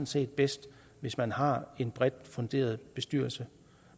set bedst hvis man har en bredt funderet bestyrelse